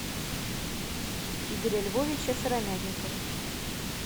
игоря львовича сыромятникова